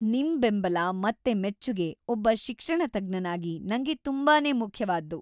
ನಿಮ್ ಬೆಂಬಲ ಮತ್ತೆ ಮೆಚ್ಚುಗೆ ಒಬ್ಬ ಶಿಕ್ಷಣತಜ್ಞನಾಗಿ ನಂಗೆ ತುಂಬಾನೇ ಮುಖ್ಯವಾದ್ದು.